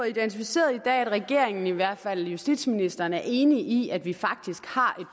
identificeret at regeringen i hvert fald justitsministeren er enig i at vi faktisk har